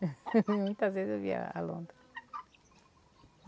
Muitas vezes eu via a lontra.